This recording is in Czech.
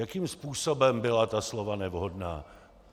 Jakým způsobem byla ta slova nevhodná?